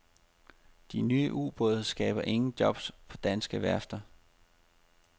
De nye ubåde skaber ingen jobs på danske værfter.